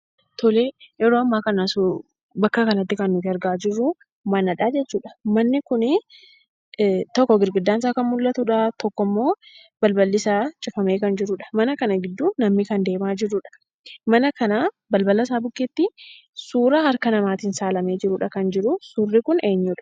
Tolee, yeroo ammaa kana bakka kanatti kan nuti argaa jirru manadha jechuudhaa. Manni kunii, tokko keenyaan isaa kan mul'atudha, tokkommoo balballisaa cufamee kan jirudha. Mana kana gidduu namni kanaa deemaa jirudha. Balbala isaa bukkeetti suuraa harka namaatiin kaafamee jirudha kan jiru. Suurri kun eenyudha?